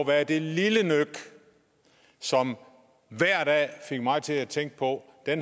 være det lille nøk som hver dag fik mig til at tænke på at